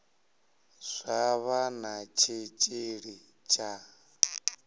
zwa vha na tshitshili tsha